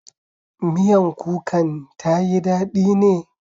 Miyan kukan ta yi daɗi ne?